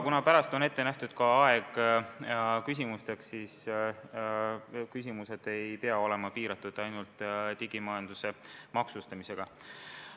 Pärast ettekannet on ette nähtud ka aeg küsimusteks ja need ei pea piirduma digimajanduse maksustamisega.